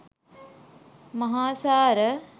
මහාසාර,